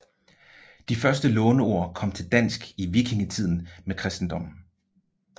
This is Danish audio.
De første låneord kom til dansk i vikingetiden med kristendommen